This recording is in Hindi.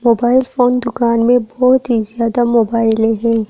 मोबाइल फोन दुकान में बहुत ही ज्यादा मोबाइले है।